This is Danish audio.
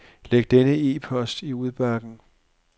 Læg denne e-post i udbakken.